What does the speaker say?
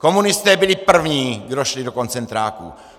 Komunisté byli první, kdo šli do koncentráků.